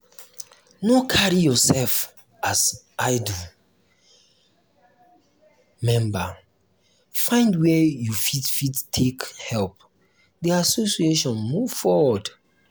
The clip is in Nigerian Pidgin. no carry yourself um as idle um member find where you fit fit take help the association move forward